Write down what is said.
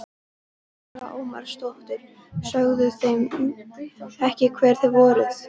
Lára Ómarsdóttir: Sögðuð þið þeim ekki hver þið voruð?